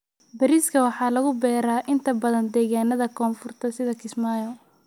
Bariiska waxaa lagu beeraa inta badan deegaanada koonfurta sida Kismaayo.